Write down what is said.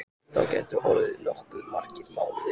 Það gætu orðið nokkuð margir mánuðir.